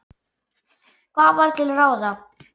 Hvað var til ráða?